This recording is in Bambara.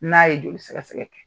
N'a ye joli sɛgɛsɛgɛ kɛ